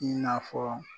I n'a fɔ